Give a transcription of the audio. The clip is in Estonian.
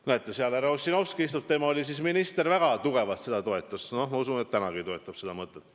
Näete, seal istub härra Ossinovski, tema oli siis minister ja väga tugevalt toetas seda mõtet ja ma usun, et toetab tänagi.